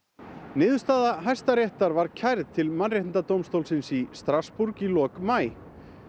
niðurstaða Hæstaréttar var kærð til Mannréttindadómstólsins í Strassborg í lok maí